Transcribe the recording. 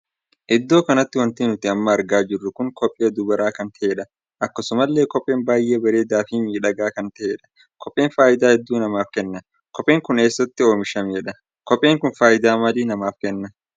Iddoo kanatti wanti nuti amma argaa jiru kun kophee dubaraa kan tahedha. akkasumallee kopheen baay'ee bareedaa fi miidhagaa kan tahedha. kopheen faayidaa hedduu namaaf kenna. kopheen Kun eessatti oomisheedha. kopheen kun faayidaa maalii namaaf kenna?